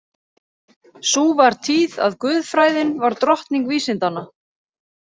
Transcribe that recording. Sú var tíð að guðfræðin var drottning vísindanna.